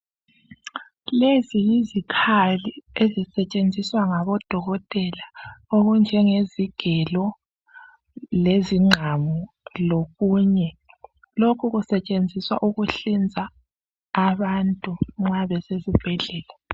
Lezi yizikhali ezisetshenziswa ngaboDokotela okunjengezigelo, ongqamu lokunye. Lokhu kusetshenziswa ikuhlinza abantu nxa besesibheflela